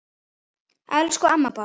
Elsku amma Bára.